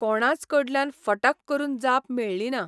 कोणाच कडल्यान फटाक करून जाप मेळ्ळीना.